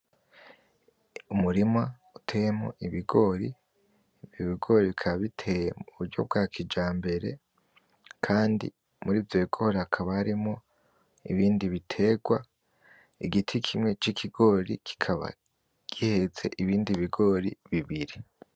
Umurima uteyemwo ibigori, ivyo bigori bikaba biteye mu buryo bwa kijambere kandi muri ivyo bigori hakaba harimwo ibindi bitegwa igiti kimwe c'ikigori kikaba gihetse ibindi bigori bibiri.